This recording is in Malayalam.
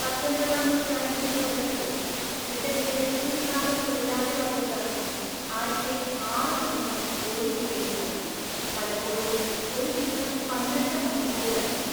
പത്തൊൻപതാം നൂറ്റാണ്ടിന്റെ തുടക്കത്തിൽ, ബ്രിട്ടനിലെ ഭൂരിഭാഗം തൊഴിലാളിവർഗക്കാർക്കും ആഴ്ചയിൽ ആറ് ദിവസം ജോലി ചെയ്യേണ്ടിവന്നു, പലപ്പോഴും ഒരു ദിവസം പന്ത്രണ്ട് മണിക്കൂറിലധികം.